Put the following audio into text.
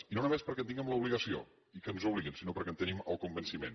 i no només perquè en tinguem l’obligació i que ens obliguen sinó perquè en tenim el convenciment